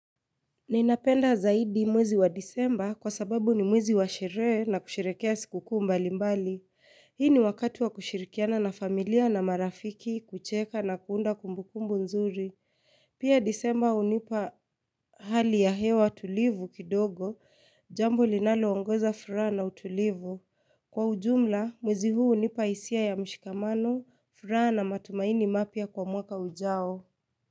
Ninapenda zaidi mwezi wa Disemba kwa sababu ni mwezi wa sherehe na kusherehekea sikukuu mbalimbali. Hii ni wakati wa kushirikiana na familia na marafiki kucheka na kuunda kumbukumbu nzuri. Pia Disemba hunipa hali ya hewa tulivu kidogo, jambo linaloongeza furaha na utulivu. Kwa ujumla, mwezi huu hunipa hisia ya mshikamano, furaha na matumaini mapya kwa mwaka ujao.